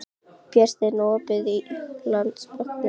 Brynsteinn, er opið í Landsbankanum?